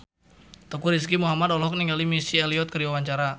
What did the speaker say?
Teuku Rizky Muhammad olohok ningali Missy Elliott keur diwawancara